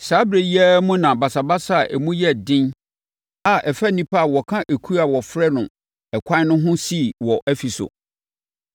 Saa ɛberɛ yi ara mu na basabasa a emu yɛ den a ɛfa nnipa a wɔka ekuo a wɔfrɛ no Ɛkwan no ho sii wɔ Efeso.